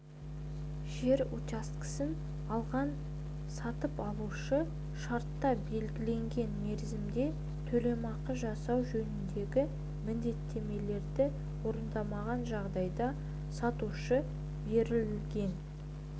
жер учаскесін алған сатып алушы шартта белгіленген мерзімде төлемақы жасау жөніндегі міндеттемелерді орындамаған жағдайда сатушы берілген